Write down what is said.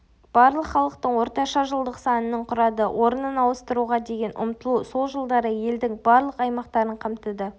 барлық халықтың орташа жылдық санының құрады орнын ауыстыруға деген ұмтылу сол жылдары елдің барлық аймақтарын қамтыды